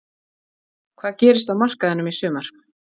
Hvað gerist á markaðinum í sumar?